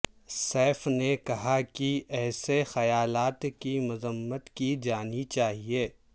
safe نے کہا کہ ایسے خیالات کی مذمت کی جانی چاہئے